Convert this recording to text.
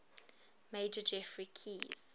major geoffrey keyes